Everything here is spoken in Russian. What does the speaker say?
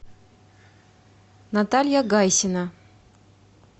наталья гайсина